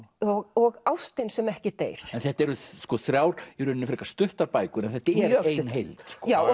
og ástin sem ekki deyr en þetta eru þrjár í rauninni frekar stuttar bækur en þetta er ein heild já og